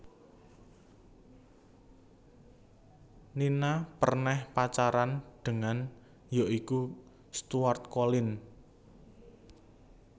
Nina perneh Pacaran dengan ya iku Stuart Collin